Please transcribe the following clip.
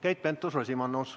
Keit Pentus-Rosimannus.